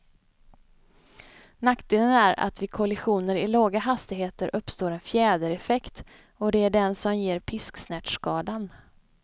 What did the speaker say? Nackdelen är att vid kollisioner i låga hastigheter uppstår en fjädereffekt, och det är den som ger pisksnärtskadan.